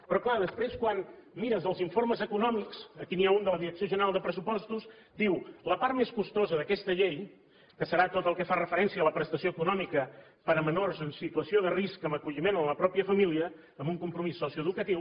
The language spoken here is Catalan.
però és clar després quan mires els informes econòmics aquí n’hi ha un de la direcció general de pressupostos diu la part més costosa d’aquesta llei que serà tot el que fa referència a la prestació econòmica per a menors en situació de risc amb acolliment a la pròpia família amb un compromís socioeducatiu